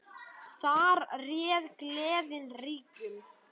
Þar réð gleðin ríkjum.